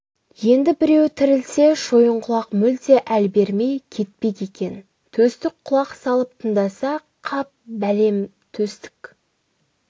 енді біреуі тірілсе шойынқұлақ мүлде әл бермей кетпек екен төстік құлақ салып тыңдаса қап бәлем төстік